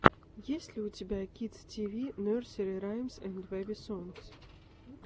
есть ли у тебя кидс ти ви нерсери раймс энд бэби сонгс